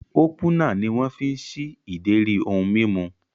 Ópúnà ni wọ́n fi ń ṣí ìdérí ohun mímu